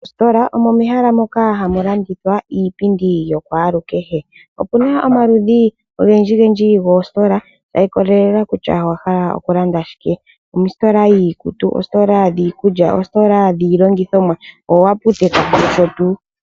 Oositola omo mehala moka hamu landithilwa iipindi yokwalukehe, okuna omaludhi ogendji gendji goositola ga ikolelela kutya ohaywya okulanda shike omositola yiikutu, oositola dhikulya, oositola dhilongithomwa, dhoaputeka noshotu